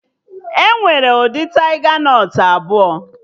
Enwere ụdị taiga nọt abụọ